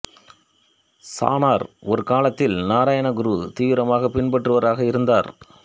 சாணார் ஒரு காலத்தில் நாராயண குருவை தீவிரமாகப் பின்பற்றுபவராக இருந்தார்